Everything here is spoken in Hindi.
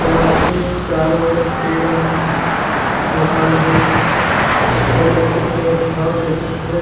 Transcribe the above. यहाँ के चारो पेड़ है मकान है बहुत ख़ूबसूरत घास है बहुत--